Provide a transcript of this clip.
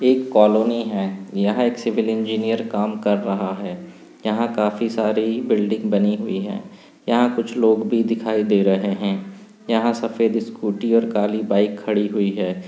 एक कॉलोनी है यहां एक सिविल इंजीनियर काम कर रहा है। यहां काफी सारी बिल्डिंग बनी हुई है। यहां कुछ लोग भी दिखाई दे रहे हैं। यहां सफेद स्कूटी और काली बाइक खड़ी हुई है।